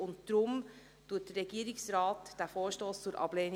Deshalb empfiehlt der Regierungsrat diesen Vorstoss zur Ablehnung.